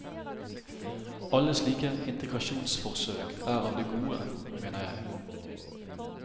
Alle slike integrasjonsforsøk er av det gode, mener jeg.